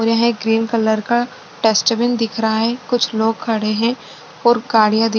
और यहाँ एक ग्रीन कलर का डस्टबिन दिख रहा है कुछ लोग खड़े है और गाड़िया दिख --